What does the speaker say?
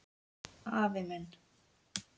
Afi minn.